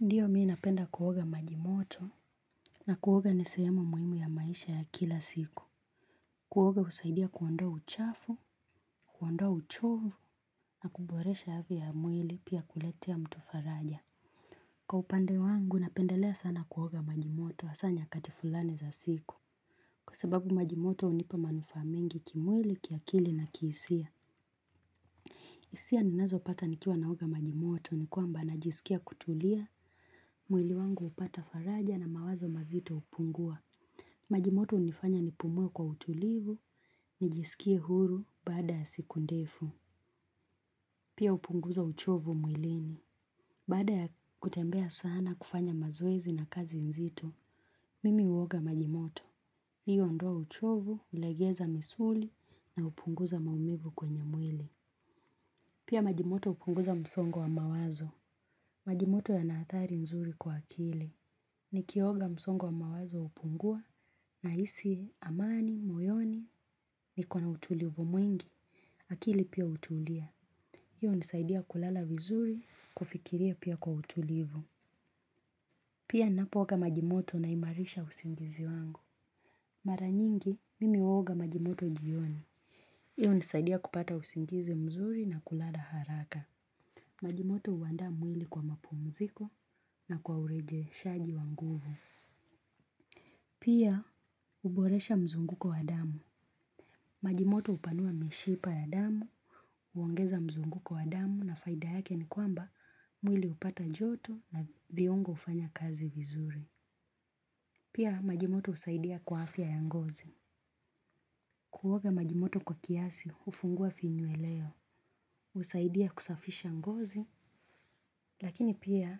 Ndiyo mimi napenda kuoga majimoto na kuoga ni sehemu muhimu ya maisha ya kila siku. Kuoga husaidia kuondoa uchafu, kuondoa uchovu na kuboresha hali ya mwili pia kuletea mtu faraja. Kwa upande wangu napendelea sana kuoga majimoto hasa nyakati fulani za siku. Kwa sababu majimoto hunipa manufaa mingi kimwili, kiakili na kihisia. Hisia ninazopata nikiwa naoga majimoto ni kwamba najisikia kutulia, mwili wangu hupata faraja na mawazo mazito hupungua. Majimoto hunifanya nipumue kwa utulivu, nijisikie huru baada ya siku ndefu. Pia hupunguza uchovu mwilini. Baada ya kutembea sana kufanya mazoezi na kazi nzito, mimi uoga majimoto. Hiyo huondoa uchovu, hulegeza misuli na hupunguza maumivu kwenye mwili. Pia majimoto hupunguza msongo wa mawazo. Majimoto yanaathari nzuri kwa akili. Nikioga msongo wa mawazo hupungua nahisi amani, moyoni niko na utulivu mwingi. Akili pia utulia. Hiyo hunisaidia kulala vizuri kufikiria pia kwa utulivu. Pia ninapoga majimoto naimarisha usingizi wangu. Mara nyingi, mimi uoga majimoto jioni. Hiyo nisaidia kupata usingizi mzuri na kulala haraka. Majimoto huanda mwili kwa mapumziko na kwa urejeshaji wa nguvu. Pia uboresha mzunguko wa damu. Majimoto hupanua mishipa ya damu, huongeza mzunguko wa damu na faida yake ni kwamba mwili hupata joto na viungo hufanya kazi vizuri. Pia majimoto husaidia kwa afya ya ngozi. Kuoga majimoto kwa kiasi hufungua finye ya leo. Husaidia kusafisha ngozi. Lakini pia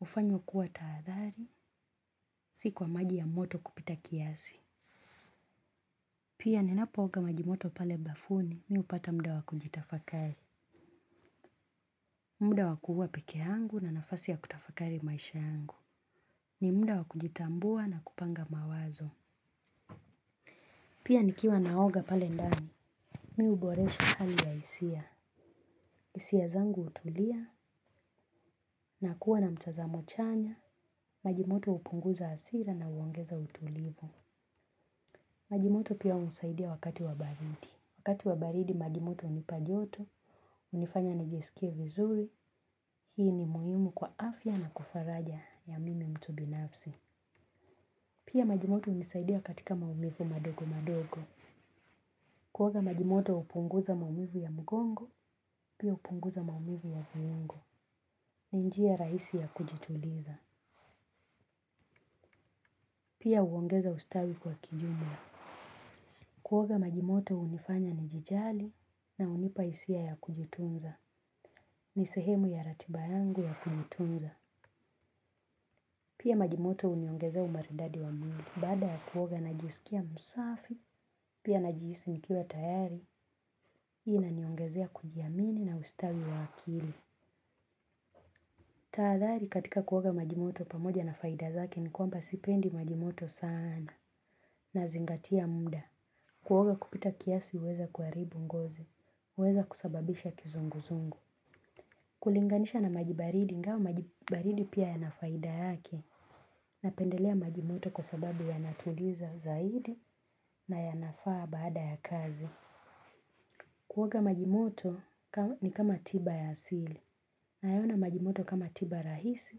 hufanyoa kuwa tahadhari, si kwa maji ya moto kupita kiasi. Pia ninapooga majimoto pale bafuni mimi hupata muda wa kujitafakari. Muda wa kuwa peke yangu na nafasi ya kutafakari maisha yangu. Ni muda wa kujitambua na kupanga mawazo. Pia nikiwa naoga pale ndani, mimi huboresha hali ya hisia. Hisia zangu hutulia na kuwa na mtazamo chanya, majimoto hupunguza hasira na huongeza utulivu. Majimoto pia hunisaidia wakati wa baridi. Wakati wa baridi majimoto hunipa joto hunifanya nijisikie vizuri. Hii ni muhimu kwa afya na kufaraja ya mimi mtu binafsi. Pia majimoto hunisaidia katika maumivu madogo madogo. Kuoga majimoto hupunguza maumivu ya mgongo. Pia hupunguza maumivu ya viungo. Ni njia rahisi ya kujituliza. Pia huongeza ustawi kwa kijumla. Kuoga majimoto hunifanya nijijali na hunipa hisia ya kujitunza. Ni sehemu ya ratiba yangu ya kunitunza. Pia majimoto huniongezea umaridadi wa mwili. Baada ya kuoga najisikia msafi. Pia najihisi nikiwa tayari hii inaniongezea kujiamini na ustawi wa akili. Tahadhari katika kuoga majimoto pamoja na faida zake ni kwamba sipendi majimoto sana. Nazingatia muda. Kuoga kupita kiasi huweza kuharibu ngozi huweza kusababisha kizunguzungu kulinganisha na maji baridi ingawa maji baridi pia yanafaida yake napendelea maji moto kwa sababu yanatuliza zaidi na yanafaa baada ya kazi. Kuoga majimoto ni kama tiba ya asili. Nayaona maji moto kama tiba rahisi,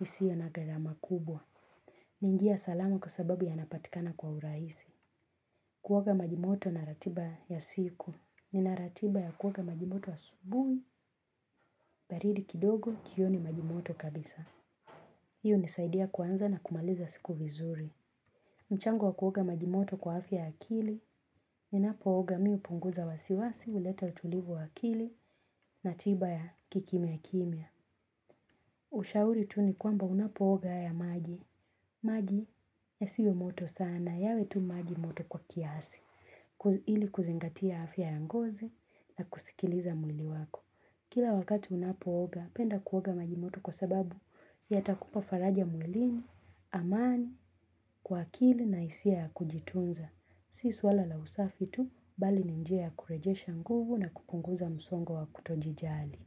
isio na gharama kubwa. Ni njia salama kwa sababu yanapatikana kwa urahisi. Kuoga maji moto na ratiba ya siku. Ninaratiba ya kuoga maji moto asubuhi, baridi kidogo, jioni maji moto kabisa. Hii hunisaidia kuanza na kumaliza siku vizuri. Na maji moto kwa afya ya akili, ninapooga mimi hupunguza wasiwasi, huleta utulivu wa akili na tiba ya kikimya kimya. Ushauri tu ni kwamba unapooga haya maji. Maji yasiwe moto sana yawe tu maji moto kwa kiasi ili kuzingatia afya ya ngozi na kusikiliza mwili wako kila wakati unapooga penda kuoga maji moto kwa sababu yatakupa faraja mwilini, amani kwa akili na hisia ya kujitunza si swala la usafi tu bali ni njia ya kurejesha nguvu na kupunguza msongo wa kutojijali.